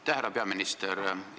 Aitäh, härra peaminister!